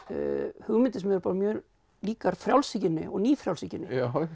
hugmyndir sem eru mjög líkar frjálshyggjunni og nýfrjálshyggjunni